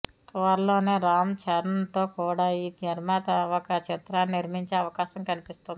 త్వరలోనే రామ్ చరణ్తో కూడా ఈ నిర్మాత ఒక చిత్రాన్ని నిర్మించే అవకాశం కనిపిస్తుంది